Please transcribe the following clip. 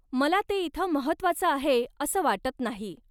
मला ते इथं महत्त्वाचं आहे असं वाटत नाही.